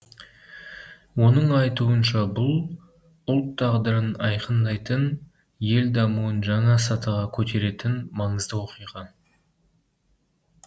оның айтуынша бұл ұлт тағдырын айқындайтын ел дамуын жаңа сатыға көтеретін маңызды оқиға